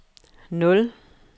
nul